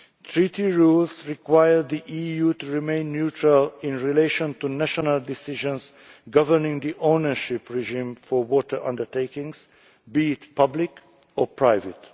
Treaty rules require the EU to remain neutral in relation to national decisions governing the ownership regime for water undertakings, be it public or private.